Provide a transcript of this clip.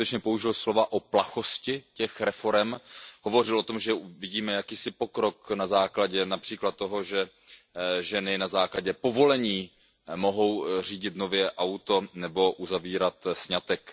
On skutečně použil slova o plachosti těch reforem, hovořil o tom, že vidíme jakýsi pokrok na základě například toho, že ženy na základě povolení mohou nově řídit auto nebo uzavírat sňatek.